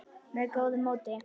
með góðu móti.